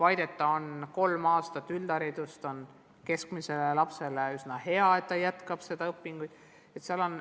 Aga kolm aastat üldharidust on keskmisele lapsele hea lahendus, ta jätkab õpinguid.